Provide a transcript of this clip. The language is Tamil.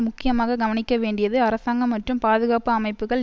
முக்கியமாக கவனிக்க வேண்டியது அரசாங்கம் மற்றும் பாதுகாப்பு அமைப்புக்கள்